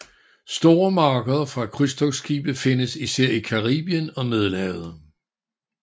Store markeder for krydstogtskibe findes især i Caribien og Middelhavet